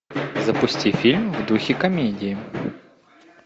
запусти фильм в духе комедии